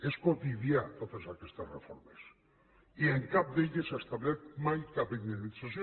són quotidianes totes aquestes reformes i en cap d’elles s’ha establert mai cap indemnització